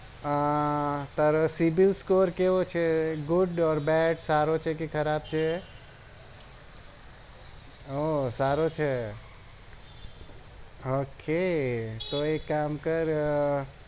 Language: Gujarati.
હા તારો cibil score કેવો છે good or bad સારો છે કે ખરાબ છે ઓહ સારો છે ok તો એક કામ કર